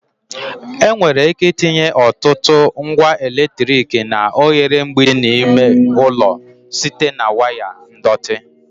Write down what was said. Enwere ike itinye ọtụtụ ngwa eletrik na oghere mgbidi dị n'ime ụlọ site na waya ndọtị